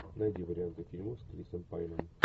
найди варианты фильмов с крисом пайном